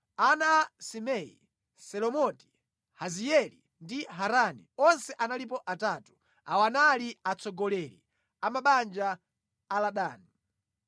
Ana a Simei: Selomoti, Haziyeli ndi Harani. Onse analipo atatu. Awa anali atsogoleri a mabanja a Ladani.